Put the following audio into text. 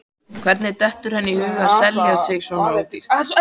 Hvernig dettur henni í hug að selja sig svona ódýrt?